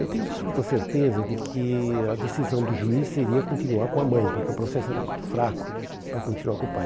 Eu tenho absoluta certeza de que a decisão do juiz seria continuar com a mãe, porque o processo era muito fraco para continuar com o pai.